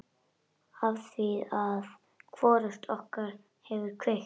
Afþvíað hvorugt okkar hefur kveikt.